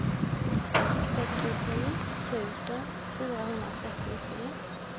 sextiotre tusen fyrahundratrettiotre